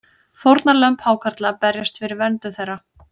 Fórnarlömb hákarla berjast fyrir verndun þeirra